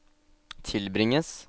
tilbringes